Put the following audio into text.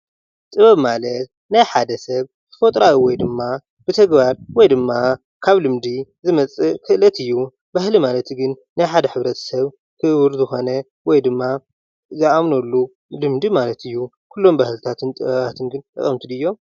ጥበብ ማለት ናይ ሓደ ሰብ ተፈጥራዊ ወይ ድማ ብተግባር ወይድማ ካብ ልምዲ ዝመጽእ ክእለት እዩ። ባህሊ ማለት ግን ናይ ሓደ ሕብረተሰብ ክቡር ዝኾነ ወይ ድማ ዝኣምነሉ ልምዲ ማለት እዩ። ኩሎም ባህልታትን ጥበባትን ግን ጠቀምቲ ድዮም?